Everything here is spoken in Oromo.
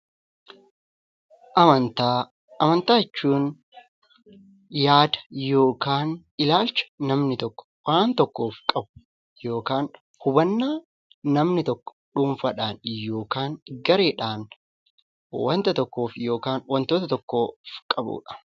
Amantaa jechuun yaada yookiin ilaalcha namni tokko waan tokkoof qabu yookiin hubannaa namni tokko dhuunfaadhaan yookiin gareedhaan wanta yookiin wantoota tokkoof qabudha.